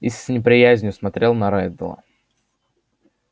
и с неприязнью смотрел на реддла